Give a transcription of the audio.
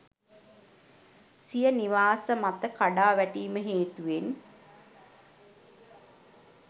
සිය නිවාස මත කඩා වැටීම හේතුවෙන්